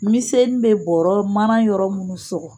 Miseni bɛ bɔɔrɔ mana yɔrɔ munnu sɔgɔ.